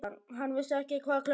Hann vissi ekki hvað klukkan var.